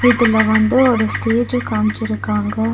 இதுல வந்து ஒரு ஸ்டேஜ காமிச்சி இருக்காங்க.